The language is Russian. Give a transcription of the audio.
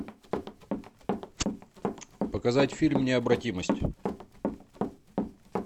показать фильм необратимость